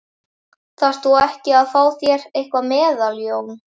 Þarft þú ekki að fá þér eitthvað meðal Jón?